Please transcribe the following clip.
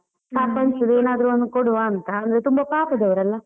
ಪಾಪ ಅನ್ಸುದು, ಏನಾದ್ರು ಒಂದು ಕೊಡುವಾಂತ ಅಂದ್ರೆ ತುಂಬಾ ಪಾಪದವರಲ್ಲ.